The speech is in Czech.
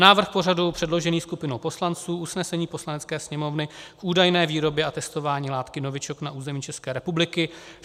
Návrh pořadu předložený skupinou poslanců, usnesení Poslanecké sněmovny k údajné výrobě a testování látky novičok na území České republiky.